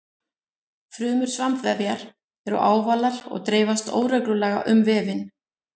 Frumur svampvefjar eru ávalar og dreifast óreglulega um vefinn.